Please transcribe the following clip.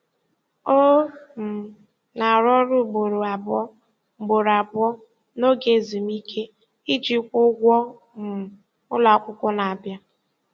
Ọ um na-arụ ọrụ ugboro abụọ ugboro abụọ n'oge ezumike iji kwụọ ụgwọ um ụlọakwụkwọ na-abịa.